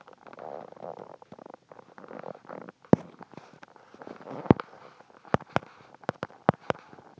олардың жұбайлық өмірінде бір адамның толық үстемдік етер кезеңі тең право екеуі қосылғалы болған емес туып келе жатты